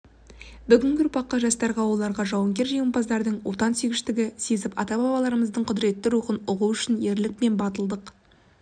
бүгінгі ұрпаққа жастарға оларға жауынгер-жеңімпаздардың отансүйгіштікті сезіп ата-бабаларымыздың құдыретті рухын ұғу үшін ерлік пен батылдық